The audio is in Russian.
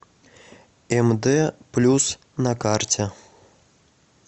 мд плюс на карте